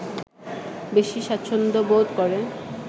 বেশি স্বাচ্ছন্দ্যবোধ করে